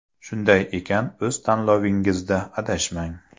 Shunday ekan, o‘z tanlovingizda adashmang!